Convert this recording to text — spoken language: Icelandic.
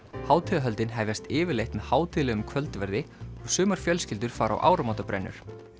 hátíðarhöldin hefjast yfirleitt með hátíðlegum kvöldverði og sumar fjölskyldur fara á áramótabrennur